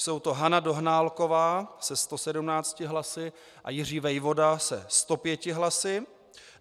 Jsou to Hana Dohnálková se 117 hlasy a Jiří Vejvoda se 105 hlasy.